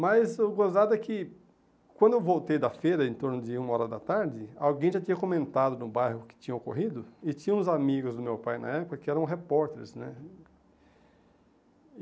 Mas o gozado é que quando eu voltei da feira, em torno de uma hora da tarde, alguém já tinha comentado no bairro o que tinha ocorrido, e tinham uns amigos do meu pai na época que eram repórteres, né?